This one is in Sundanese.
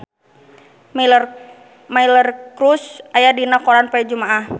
Miley Cyrus aya dina koran poe Jumaah